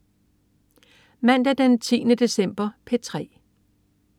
Mandag den 10. december - P3: